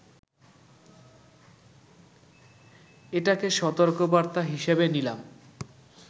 এটাকে সতর্কবার্তা হিসেবে নিলাম